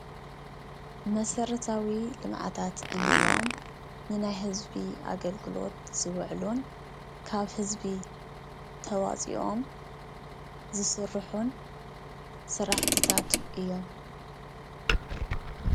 መሰረታዊ ልምዓታት እንብሎም ንናይ ህዝቢ ኣገልግሎት ዝዉዕሉን ካብ ህዝቢ ተዋፂኦም ዝስርሑን ስራሕትታት እዮም::